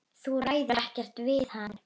Þú ræður ekkert við hann.